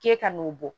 K'e ka n'o bɔ